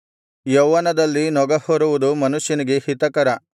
ಯೌವನದಲ್ಲಿ ನೊಗಹೊರುವುದು ಮನುಷ್ಯನಿಗೆ ಹಿತಕರ